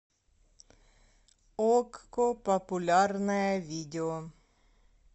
окко популярное видео